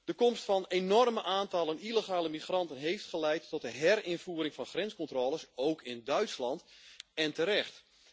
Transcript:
De komst van enorme aantallen illegale migranten heeft geleid tot de herinvoering van grenscontroles, ook in Duitsland, en terecht.